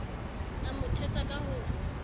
a mo thetsa ka ho